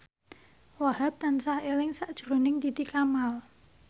Wahhab tansah eling sakjroning Titi Kamal